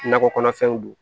Nakɔ kɔnɔfɛnw don